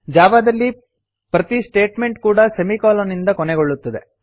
Java ದಲ್ಲಿ ಪ್ರತಿ statement ಕೂಡಾ ಸೆಮಿಕೊಲನ್ ನಿಂದ ಕೊನೆಗೊಳ್ಳುತ್ತವೆ